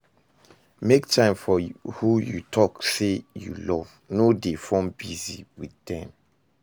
Make time for who you talk sey you love, no dey form busy with dem